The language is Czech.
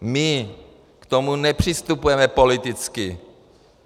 My k tomu nepřistupujeme politicky.